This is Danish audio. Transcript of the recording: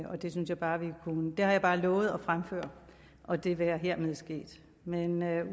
og det synes jeg bare vi kunne gøre det har jeg bare lovet at fremføre og det være hermed sket men